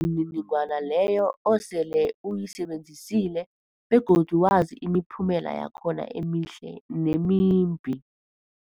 mniningwana leyo osele uyisebenzisile begodu wazi imiphumela yakhona emihle nemimbi.